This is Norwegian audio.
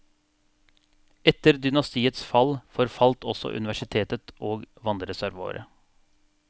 Etter dynastiets fall forfalt også universitetet og vannreservoaret.